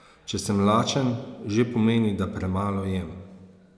Če sem lačen, že pomeni, da premalo jem.